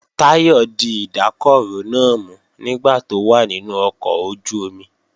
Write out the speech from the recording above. Táyọ̀ di ìdákọrò náà mú nígbà tó wà nínú ọkọ̀ ojú-omi